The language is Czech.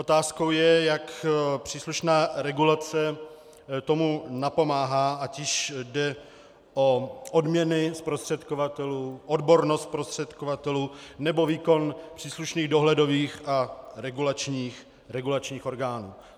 Otázkou je, jak příslušná regulace tomu napomáhá, ať již jde o odměny zprostředkovatelů, odbornost zprostředkovatelů nebo výkon příslušných dohledových a regulačních orgánů.